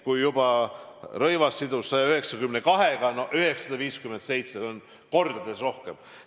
Kui Rõivas sidus usaldusküsimusega eelnõu, millel oli 192 ettepanekut – no 957 on kordades rohkem.